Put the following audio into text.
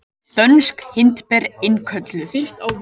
Dönsk hindber innkölluð